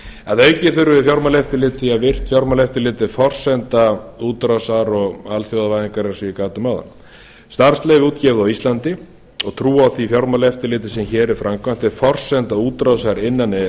að auki þurfum við fjármálaeftirlit því að virkt fjármálaeftirlit er forsenda útrásar og alþjóðavæðingar eins og ég gat um áðan starfsleyfi er útgefið á íslandi og trú á því fjármálaeftirliti sem hér er framkvæmt er forsenda útrásar innan e e s